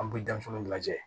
An bɛ denmisɛnw lajɛ